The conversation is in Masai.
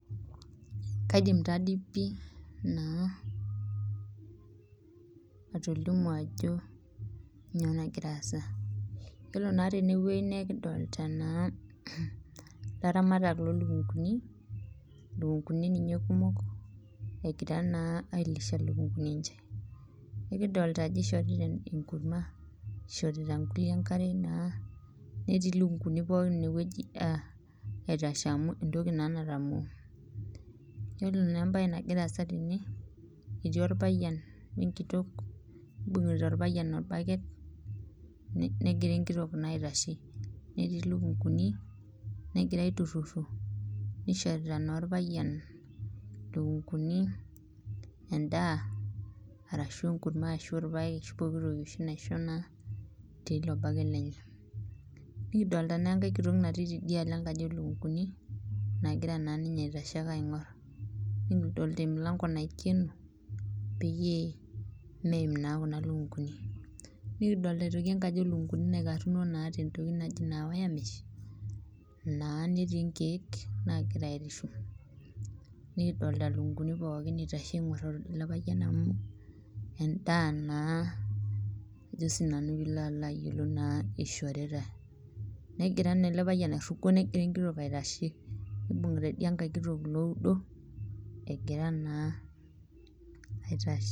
Kaidim tadii pi atolimu ajo kainyoo naa nagira aasa ,yiolo naa teneweji naa ekidolita naa laramatak lolukunkuni ,lukunkuni ninye kumok engira naa ailisha lukunkuni enche ,nikidolita ajo eishorita enkurma neishorita irkulie enkare netii lukunkuni pookin ineweji aitashe amu entoki naa natamoo .yiolo naa embae nagiraa aasa tene ,etii orpayian wenkitok ibungita orpayian orbaket negira enkitok aitashe ,netii lukunkuni negira aitururo neishorita naa orpayian lukunkuni enda orashu enkurma orashu irpaek orashu pokitoki oshi naa tenilo baket lenye .nikidolita naa enkae kitok natii ninye tidialo enkaji olukunkuni nagira aitashe aingor. nikidolita emilanko naikeno peyie meim ilukunkuni ,nikidolita naa enkaji oolunkunkuni naikaruno tentoki naji wire mesh naa netii nkeek nagira airishu nikidolita lukunkuni pookin egira aitashe aingor ele payian amu endaa naa eishoritae, negira naa ele payian airugo negira enkitok aitashe nibungita India nkaek kitok iloudo egira naa aitashe